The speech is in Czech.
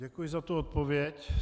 Děkuji za tu odpověď.